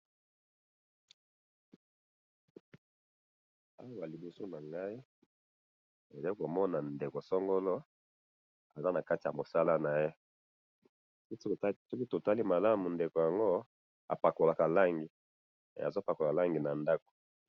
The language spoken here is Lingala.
awa na liboso na ngayi nazo komona ndeko songolo aza nakati ya ,mosala naye soki tutali malamu apakolaka langi apakolaka langi azo pakpla langi nakati ya ndaku.